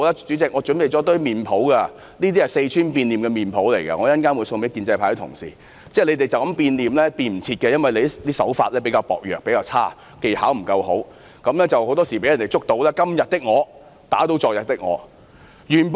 主席，我這裏準備了一些四川變臉的臉譜，稍後會送給建制派的同事，他們這樣變臉已經來不及了，因為他們的手法比較差劣，技巧不佳，很多時候會被揭發他們是"今天的我打倒昨天的我"。